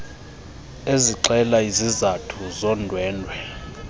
ezixela izizathu zondwendwe